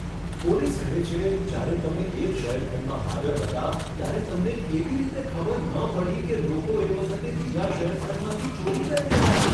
Police કહે છે, જ્યારે તમે એક શયનખંડમાં હાજર હતા ત્યારે તમને કેવી રીતે ખબર ન પડી કે લોકો એ વખતે બીજા શયનખંડમાંથી ચોરી કરી રહ્યા છે?